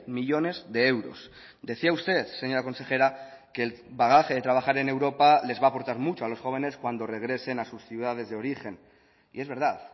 millónes de euros decía usted señora consejera que el bagaje de trabajar en europa les va aportar mucho a los jóvenes cuando regresen a sus ciudades de origen y es verdad